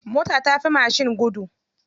Mota tafi mashin gudu.